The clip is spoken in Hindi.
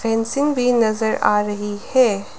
फेंसिंग भी नजर आ रही है।